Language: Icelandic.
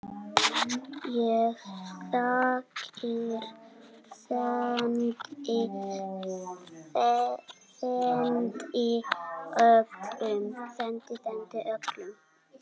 Ég þakkir sendi, sendi öllum.